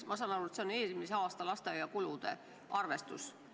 Ma saan aru, et see on eelmise aasta lasteaiakulude arvestus.